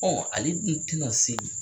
Ale dun tina se.